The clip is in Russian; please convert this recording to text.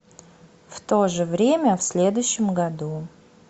в то же время в следующем году